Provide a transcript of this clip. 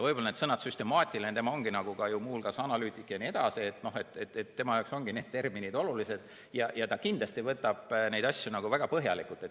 Need sõnad nagu "süstemaatiline" – ta on muu hulgas analüütik – on tema jaoks olulised ja ta kindlasti võtab neid asju väga põhjalikult.